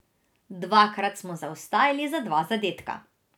Dvakrat smo zaostajali za dva zadetka.